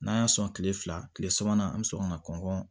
N'an y'a sɔn kile fila kile sabanan an mi sɔn ka na kɔn